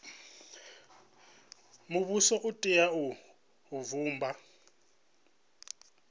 muvhuso u tea u vhumba